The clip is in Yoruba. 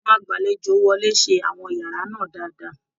Àwọn agbalejo wọlé ṣe àwọn yàrá náà dáadáa